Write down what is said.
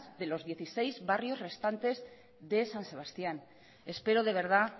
de los dieciséis barrios restantes de san sebastián espero de verdad